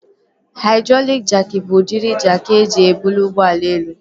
Haidrọlịk jaakị bụ udịri jaakị eji ebuli ụgbọala elu